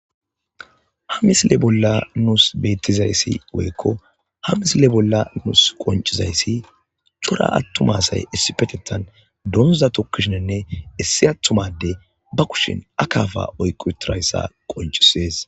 Ha misile bolla nuus bettizayssi woykko ha misile bolla nuus qoncizayssi cora attumasay issipetettan doondza tokkishininne issi attumade ba kushin akafa oyqu tirayssa qoncisees.